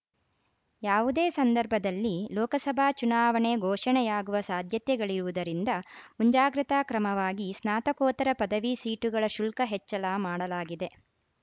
ಯಾವುದೇ ಸಂದರ್ಭದಲ್ಲಿ ಲೋಕಸಭಾ ಚುನಾವಣೆ ಘೋಷಣೆಯಾಗುವ ಸಾಧ್ಯತೆಗಳಿರುವುದರಿಂದ ಮುಂಜಾಗ್ರತಾ ಕ್ರಮವಾಗಿ ಸ್ನಾತಕೋತ್ತರ ಪದವಿ ಸೀಟುಗಳ ಶುಲ್ಕ ಹೆಚ್ಚಳ ಮಾಡಲಾಗಿದೆ